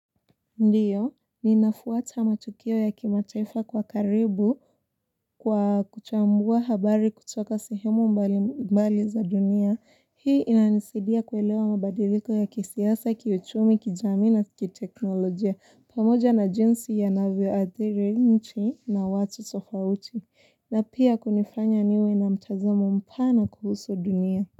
Ndiyo, ninafuata matukio ya kimataifa kwa karibu kwa kuchambua habari kutoka sehemu mbali mbali za dunia. Hii inanisidia kuelewa mabadiliko ya kisiasa, kiuchumi, kijamii na kiteknolojia. Pamoja na jinsi yanavyo athiri nchi na watu tofauti. Na pia kunifanya niwe na mtazamo mpana kuhusu dunia.